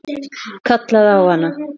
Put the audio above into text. Kallaði á hana.